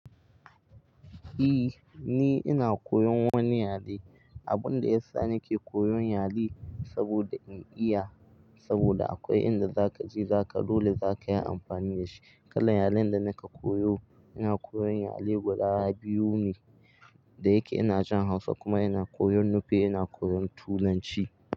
E, ni ina koyon wani yare. Abun da ya sa nake koyon yare saboda in iya, saboda akwai inda zaka je zaka dole zaka yi amfani da shi. Kalan yaren da nake koyo ina koyon yare guda biyu ne da yake ina jin Hausa kuma ina koyon Nupe ina koyon tulanci.